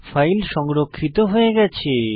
file সংরক্ষিত হয়ে গেছে